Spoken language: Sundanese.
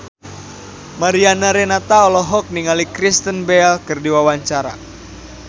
Mariana Renata olohok ningali Kristen Bell keur diwawancara